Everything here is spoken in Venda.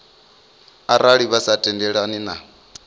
arali vha sa tendelani na